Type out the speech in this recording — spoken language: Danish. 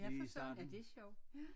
Ja for søren da det sjovt ja